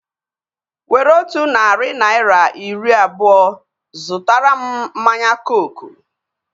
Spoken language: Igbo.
Were otu narị naira iri abụọa zụtara mụ mmanya kooku